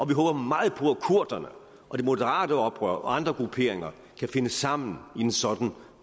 vi håber meget på at kurderne og de moderate oprører og andre grupperinger kan finde sammen i en sådan